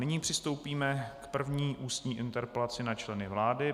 Nyní přistoupíme k první ústní interpelaci na členy vlády.